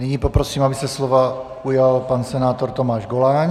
Nyní poprosím, aby se slova ujal pan senátor Tomáš Goláň.